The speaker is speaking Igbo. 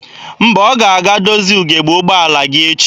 Mba, ọ ga-aga dozie ugebe ụgbọala gị echi.